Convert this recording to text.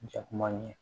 Jɛkulu man ɲi